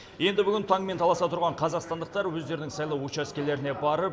енді бүгін таңмен таласа тұрған қазақстандықтар өздерінің сайлау учаскелеріне барып